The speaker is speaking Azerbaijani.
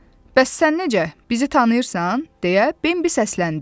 Bəs sən necə? Bizi tanıyırsan, deyə Bembi səsləndi.